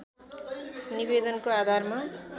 निवेदनको आधारमा